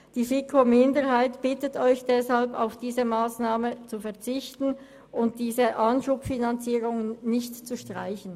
Die FiKoMinderheit bittet Sie deshalb, auf diese Massnahme zu verzichten und die Anschubfinanzierung nicht zu streichen.